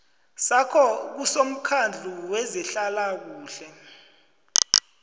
sakho kusomkhandlu wezehlalakuhle